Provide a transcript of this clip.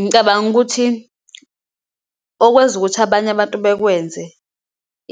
Ngicabanga ukuthi okwenza ukuthi abanye abantu bekwenze